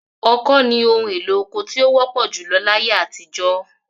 Ọkọ́ ni ohun-èlo oko tí ó wọ́pọ̀ júlọ láyé àtijọ́.